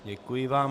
Děkuji vám.